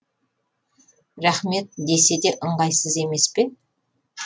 рахмет десе де ыңғайсыз емес пе